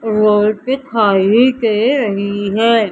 Road दिखाई दे रही है।